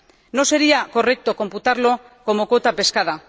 No sería correcto computarlo como cuota pescada.